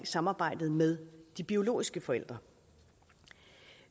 samarbejdet med de biologiske forældre